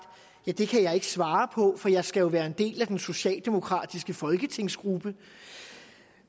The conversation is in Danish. det kan jeg ikke svare på for jeg skal jo være en del af den socialdemokratiske folketingsgruppe